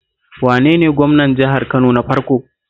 Wane ne gwamnan jihar Kano na farko?